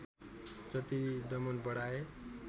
जति दमन बढाए